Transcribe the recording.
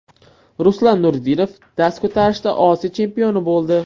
Ruslan Nuriddinov dast ko‘tarishda Osiyo chempioni bo‘ldi.